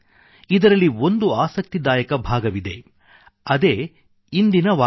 ಇದರಲ್ಲಿ ಒಂದು ಆಸಕ್ತಿದಾಯಕ ಭಾಗವಿದೆ ಅದೇ ಇಂದಿನ ವಾಕ್ಯ